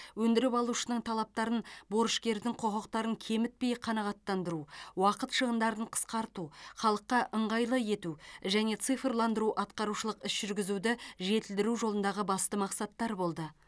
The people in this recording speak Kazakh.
өндіріп алушының талаптарын борышкердің құқықтарын кемітпей қанағаттандыру уақыт шығындарын қысқарту халыққа ыңғайлы ету және цифрландыру атқарушылық іс жүргізуді жетілдіру жолындағы басты мақсаттар болды